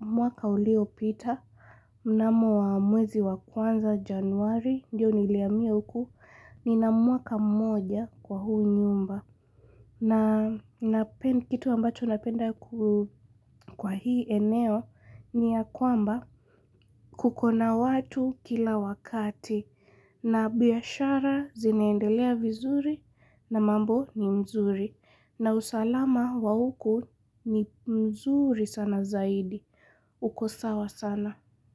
mwaka ulio pita, mnamo wa mwezi wa kwanza januari, ndio nilihamia huku ni na mwaka moja kwa huu nyumba. Na pia ni kitu ambacho napenda kwa hii eneo ni ya kwamba kukona watu kila wakati. Na biashara zinaendelea vizuri na mambo ni mzuri. Na usalama wa huku ni mzuri sana zaidi. Uko sawa sana.